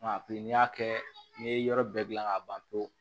Nka piki n'i y'a kɛ n'i ye yɔrɔ bɛɛ gilan k'a ban pewu